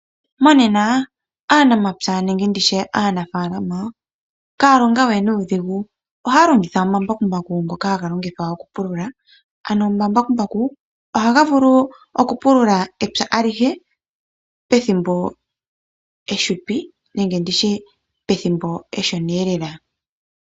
Monena aanamapya nenge aanafaalama ihaya longo we nuudhigu, ohaya longitha omambakumbaku ngoka haga longithwa okupulula. Omambakumbaku ohaga vulu okupulula epya alihe pethimbo efupi, pethimbo eshona lela.